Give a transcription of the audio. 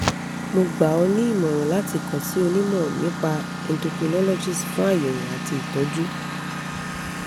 mo gbà ọ́ ní ìmọ̀ràn láti kàn sí onímọ̀ nípa endocrinologist fún àyẹ̀wò àti ìtọ́jú